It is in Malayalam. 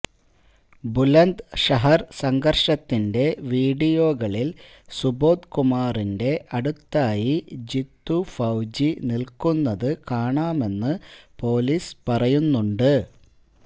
ബുലന്ദ്ഷഹര് സംഘര്ഷത്തിന്റെ വീഡിയോകളില് സുബോധ്കുമാറിന്റെ അടുത്തായി ജിത്തു ഫൌജി നില്ക്കുന്നത് കാണാമെന്ന് പാലീസ് പറയുന്നുണ്ട്